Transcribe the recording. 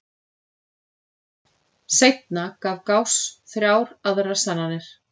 Seinna gaf Gauss þrjár aðrar sannanir.